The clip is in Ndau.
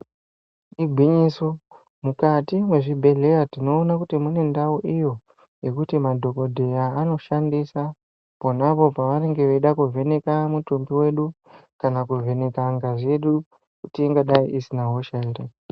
Igwinyiso mukati mwezvibhedhlera tinoona Kuti mune ndau iyo yekuti madhokodheya anoshandisa ponapo pavanenge veida kuvheneka mutumbi wedu kana kuvheneka ngazi yedu kuti ingadai isina hosha ere.